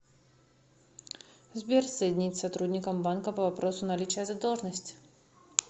сбер соединить с сотрудником банка по вопросу наличия задолжности